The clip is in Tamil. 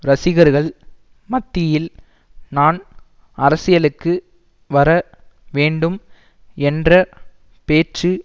ரசிகர்கள் மத்தியில் நான் அரசியலுக்கு வர வேண்டும் என்ற பேச்சு